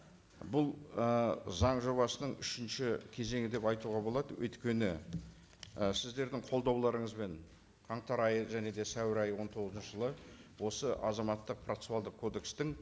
бұл і заң жобасының үшінші кезеңі деп айтуға болады өйткені і сіздердің қолдауларыңызбен қаңтар айы және де сәуір айы он тоғызыншы жылы осы азаматтық процессуалдық кодекстің